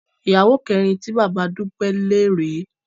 Ìyàwó kẹrin tí bàbá Dúpẹ́ ń lé rè é